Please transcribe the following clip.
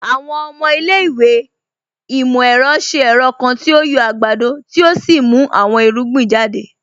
Àwọn ọmọ ilẹ̀-ìwé imọ-ẹrọ ṣẹ̀ ẹrọ̀ kan tí o yọ̀ agbádọ̀ tí o sì mú àwọn irugbìn jàdẹ̀.